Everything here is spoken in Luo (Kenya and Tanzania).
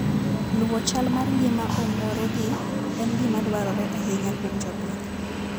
Luwo chal mar ngima ong'oregi en gima dwarore ahinya kuom jopith.